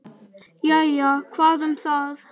Jæja, hvað um það.